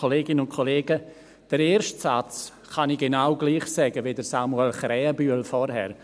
Den ersten Satz kann ich genau gleich sagen wie Samuel Krähenbühl vorhin.